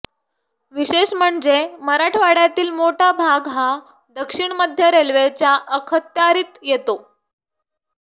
विशेष म्हणजे मराठवाड्यातील मोठा भाग हा दक्षिण मध्य रेल्वेच्या अखत्यारित येतो